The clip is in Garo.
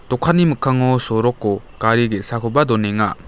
dokanni mikkango soroko gari ge·sakoba donenga.